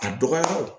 A dɔgɔyaw